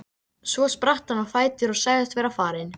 Svo spratt hann á fætur og sagðist vera farinn.